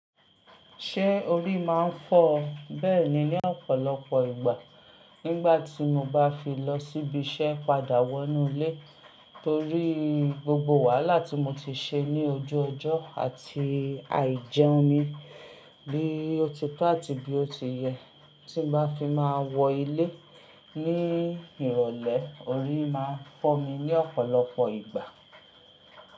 Ṣé orí máa ń fọ́ ọ bẹ́ẹ̀ ni ní ọ̀pọ̀lọpọ̀ ìgbà nígbà tí mo bá fi lọ síbi iṣẹ́ padà wọ inú ilé torí gbogbo wàhálà tí mo ti ṣe ní ojú ọjọ́ àti àìjẹun mi bí ó ti tó àti bí ó ti yẹ tí n bá fi máa wọ ilé ní ìrọ̀lẹ́ orí máa ń fọ́ mi ní ọ̀pọ̀lọpọ̀ ìgbà.